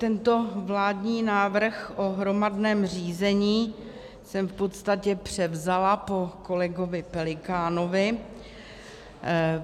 Tento vládní návrh o hromadném řízení jsem v podstatě převzala po kolegovi Pelikánovi.